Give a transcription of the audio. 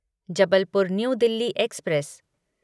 Jabalpur New Delhi express